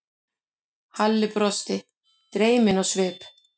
Halli brosti, dreyminn á svip.